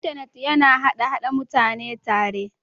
intanet yana haɗa / Haɗa mutane tare